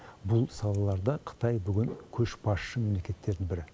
бұл салаларда қытай бүгін көшбасшы мемлекеттердің бірі